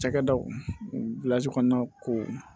Cakɛdaw kɔnɔna ko